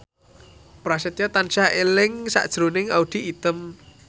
Prasetyo tansah eling sakjroning Audy Item